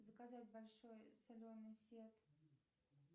заказать большой соленый сет